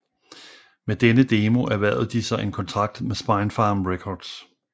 Med denne demo erhvervede de sig en kontrakt ved Spinefarm Records